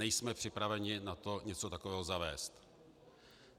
Nejsme připraveni na to něco takového zavést.